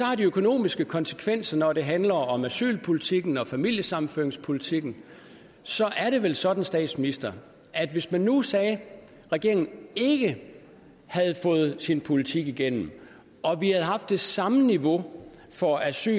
økonomiske konsekvenser når det handler om asylpolitikken og familiesammenføringspolitikken så er det vel sådan statsminister at hvis man nu sagde at regeringen ikke havde fået sin politik igennem og vi havde haft det samme niveau for asyl